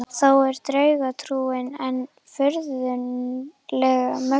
Þó er draugatrúin enn furðanlega mögnuð.